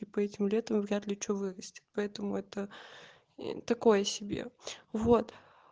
типа этим летом вряд ли что вырастет поэтому это такое себе вот